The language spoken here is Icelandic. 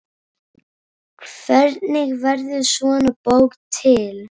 Hvernig verður svona bók til?